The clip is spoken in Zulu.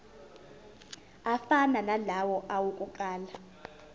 afana nalawo awokuqala